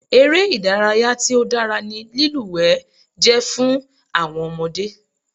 Eré ìdárayá tí ó dára ni lílúwẹ̀ẹ́ jẹ́ fún àwọn ọmọdé.